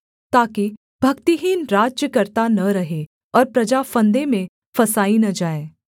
ताकि भक्तिहीन राज्य करता न रहे और प्रजा फंदे में फँसाई न जाए